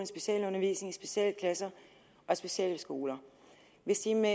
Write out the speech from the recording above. specialundervisning i specialklasser og specialskoler hvis de med